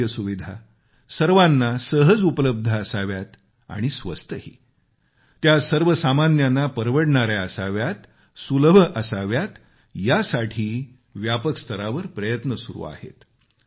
आरोग्य सुविधा सर्वांना सहज उपलब्ध असाव्यात आणि स्वस्तही त्या सर्वसामान्यांना परवडणाऱ्या असाव्यात सुलभ असाव्यात यासाठीही व्यापक स्तरावर प्रयत्न सुरु आहेत